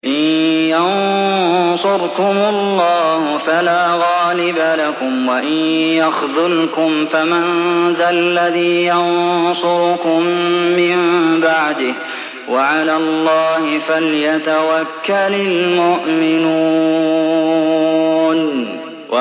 إِن يَنصُرْكُمُ اللَّهُ فَلَا غَالِبَ لَكُمْ ۖ وَإِن يَخْذُلْكُمْ فَمَن ذَا الَّذِي يَنصُرُكُم مِّن بَعْدِهِ ۗ وَعَلَى اللَّهِ فَلْيَتَوَكَّلِ الْمُؤْمِنُونَ